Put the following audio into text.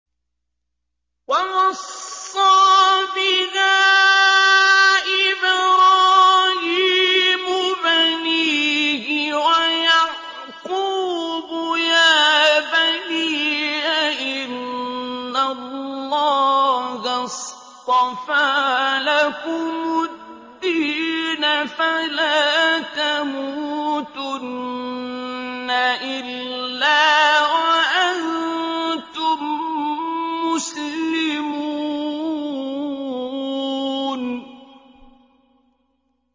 وَوَصَّىٰ بِهَا إِبْرَاهِيمُ بَنِيهِ وَيَعْقُوبُ يَا بَنِيَّ إِنَّ اللَّهَ اصْطَفَىٰ لَكُمُ الدِّينَ فَلَا تَمُوتُنَّ إِلَّا وَأَنتُم مُّسْلِمُونَ